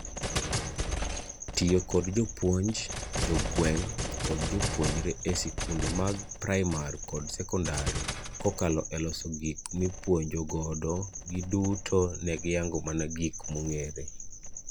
Tiyo kod jopuonj, jogweng',kod jopuonjre e sikunde mag praimar kod sekondar kokalo e loso gik mipuonjo godogiduto negiyango mana gik mong'ere.